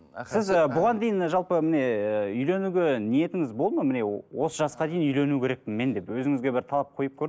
сіз і бұған дейін жалпы міне үйленуге ниетіңіз болды ма міне осы жасқа дейін үйлену керекпін мен деп өзіңізге бір талап қойып